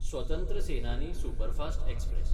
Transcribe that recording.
स्वतंत्र Senani superfast express